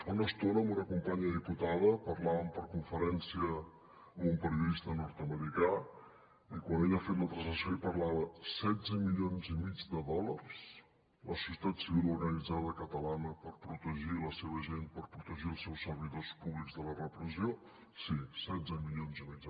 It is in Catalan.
fa una estona amb una companya diputada parlàvem per conferència amb un periodista nord americà i quan ella ha fet la translació i parlava setze milions i mig de dòlars la societat civil organitzada catalana per protegir la seva gent per protegir els seus servidors públics de la repressió sí setze milions i mig